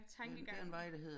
Tankegangen